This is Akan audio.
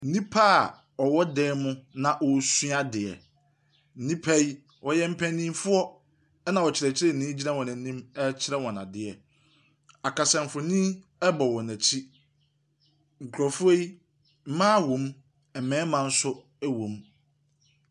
Nnipa a ɔwɔ dan mu na ɔresua adeɛ. Nipa yi wɔyɛ mpanimfoɔ, ɛnna ɔkyerɛkyerɛni gyina wɔn anim rekyerɛ wɔn adeɛ. Akasamfonin bɔ wɔn akyi. Nkurɔfoɔ yi, mmaa om, mmarima nso wom.